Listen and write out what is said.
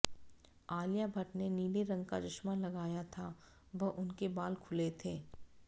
आलिया भट्ट ने नीले रंग का चश्मा लगाया था व उनके बाल खुले थे